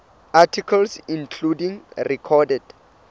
articles including recorded